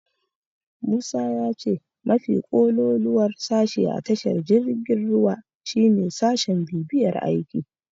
Musa ya ce mafi kololuwar sashe a tashar jirgin ruwa shine sashin bibiyar aiki.